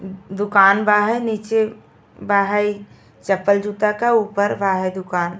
दुकान बा हई नीचे बा हई चप्पल जूता का ऊपर बा हई दुकान।